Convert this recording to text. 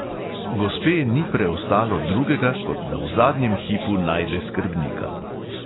Gospe ni preostalo drugega, kot da v zadnjem hipu najde skrbnika.